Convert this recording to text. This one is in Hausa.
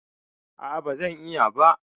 A'a, ba zan iya ba.